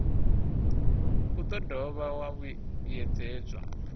u do dovha wa vhuyedzedzwa